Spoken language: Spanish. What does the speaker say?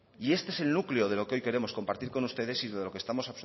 y este es el núcleo de lo que hoy queremos compartir con ustedes y de lo que estamos